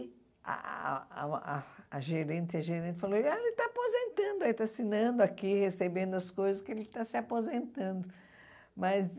Ah ah ah ah a gerente a gerente falou, ele está aposentando, está assinando aqui, recebendo as coisas, que ele está se aposentando mas